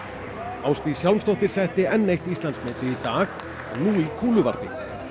Ásdís Hjálmsdóttir setti enn eitt Íslandsmetið í dag nú í kúluvarpi